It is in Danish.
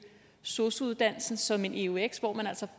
sosu uddannelsen som en en eux hvor man altså